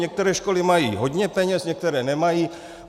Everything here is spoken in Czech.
Některé školy mají hodně peněz, některé nemají.